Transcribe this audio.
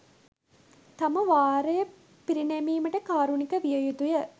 තම වාරය පිරිනැමීමට කාරුණික විය යුතුය.